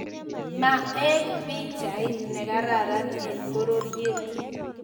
Maaek pichait nekararan eng pororiet